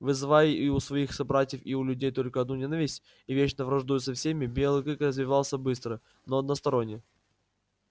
вызывая и у своих собратьев и у людей только одну ненависть и вечно враждуя со всеми белый клык развивался быстро но односторонне